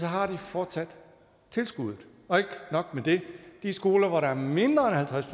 har de fortsat tilskuddet og ikke nok med det de skoler hvor der er mindre end halvtreds